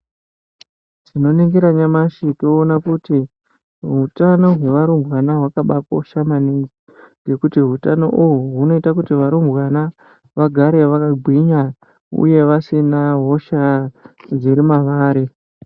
Tino ningira nyamashi toona kuti utano hwe varumbwana hwakabai kosha maningi ngekuti hutano uhwu hunoita kuti varumbwana vagare vaka gwinya uye vasina hosha mavari.